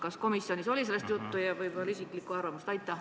Kas komisjonis oli sellest juttu ja mis on teie isiklik arvamus?